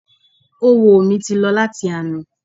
Oówo mi ti lọ láti àná